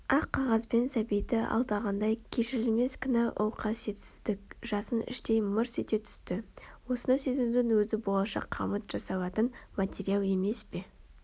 ақ қағаз бен сәбиді алдағандай кешірілмес күнә ол қасиетсіздік жасын іштей мырс ете түсті осыны сезінудің өзі болашақ қамыт жасалатын материал емес пе